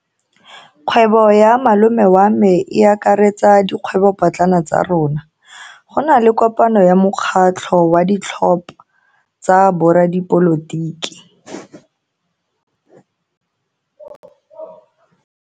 Kgwebo ya malome wa me e akaretsa dikgwebopotlana tsa rona. Go na le kopano ya mokgatlho wa ditlhopha tsa boradipolotiki.